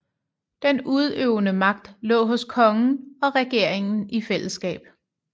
Den udøvende magt lå hos kongen og regeringen i fællesskab